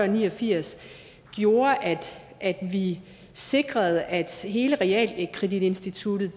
ni og firs gjorde at at vi sikrede at forhold til hele realkreditinstituttet